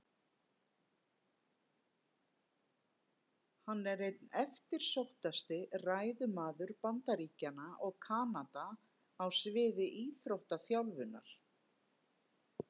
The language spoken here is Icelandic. Hann er einn eftirsóttasti ræðumaður Bandaríkjanna og Kanada á sviði íþróttaþjálfunar.